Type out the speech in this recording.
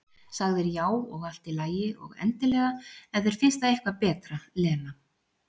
Sagðir já, og allt í lagi, og endilega, ef þér finnst það eitthvað betra, Lena.